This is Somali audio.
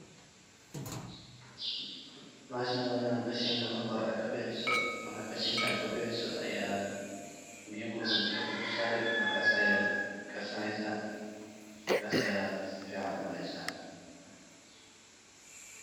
Bahashan wa Ina qashinka marki horay Aa kabixisoh , marka qashinka AA kabixisoh ayat biya kulul daabka sareysah markas ayat karsaneysah sasa Aya sufican u cuuneysah.